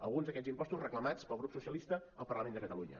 alguns d’aquests impostos reclamats pel grup socialista al parlament de catalunya